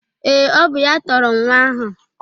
Ee, ọ bụ ya tọrọ nwa ahụ